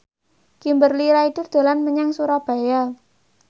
Kimberly Ryder dolan menyang Surabaya